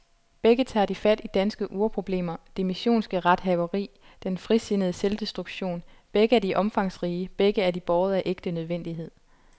Begge tager de fat i danske urproblemer, det missionske rethaveri, den frisindede selvdestruktion, begge er de omfangsrige, begge er de båret af ægte nødvendighed.